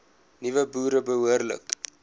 nuwe boere behoorlik